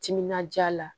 Timinandiya la